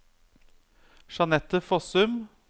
Jeanette Fossum